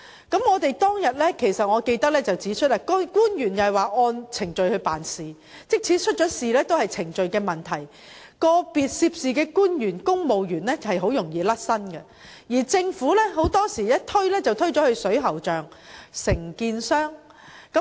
記得當日我曾指出，政府官員表示是按程序辦事，即使發生事故也屬程序問題，個別涉事官員及公務員很容易便可脫身，而且政府很多時均把責任推到水喉匠和承建商身上。